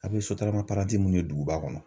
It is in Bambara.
A bɛ sotarama paranti mun ye duguba kɔnɔ.